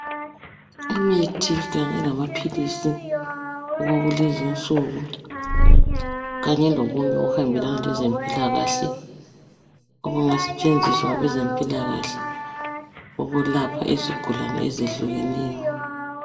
Imithi kanye lamaphilisi okwakulenzi nsuku kanye lokunye okuhambelana lezempilakahle okungasetshenziswa ngabezempilakahle ukulapha izigulane ezehlukenyo.